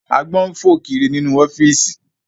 Àgbọ̀n ń fò kiri nínú ọ́fíìsì